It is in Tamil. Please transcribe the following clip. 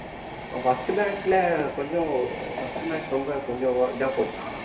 first match ல கொஞ்சம் first match ரொம்ப கொஞ்சம் இதா போட்டான்